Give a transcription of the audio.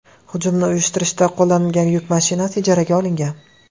Hujumni uyushtirishda qo‘llanilgan yuk mashinasi ijaraga olingan.